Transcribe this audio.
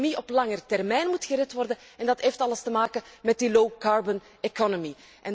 De economie op de lange termijn moet gered worden, en dat heeft alles te maken met die low carbon economy